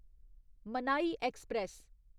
मनाई ऐक्सप्रैस